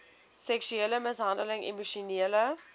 seksuele mishandeling emosionele